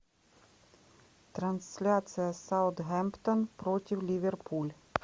трансляция саутгемптон против ливерпуль